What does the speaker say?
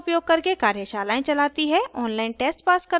spoken tutorials का उपयोग करके कार्यशालाएं चलाती है